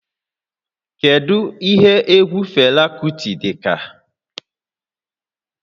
Kedu ihe egwu Fela Kuti dị ka?